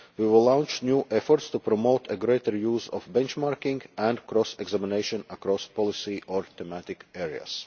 We will launch new efforts to promote greater use of benchmarking and cross examination across policy or thematic areas.